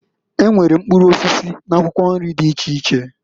E nwere mkpụrụ osisi n'akwụkwọ nri dị iche iche.